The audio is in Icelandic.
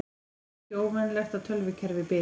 Ekki óvenjulegt að tölvukerfi bili